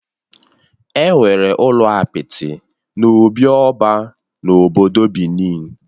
Enwere ụlọ apịtị n'obị oba na obodo Benin